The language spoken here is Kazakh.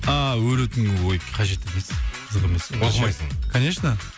ааа өлетін күн ой қажет емес қызық емес оқымайсың конечно